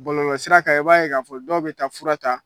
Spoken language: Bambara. Bɔlɔlɔsira kan i b'a ye k'a fɔ dɔw bɛ taa fura ta